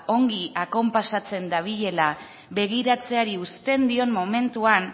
ongi akonpasatzen dabilela begiratzeari uzten dion momentuan